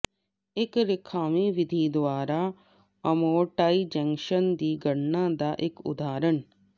ਇੱਕ ਰੇਖਾਵੀਂ ਵਿਧੀ ਦੁਆਰਾ ਅਮੋਰਟਾਈਜ਼ੇਸ਼ਨ ਦੀ ਗਣਨਾ ਦਾ ਇੱਕ ਉਦਾਹਰਣ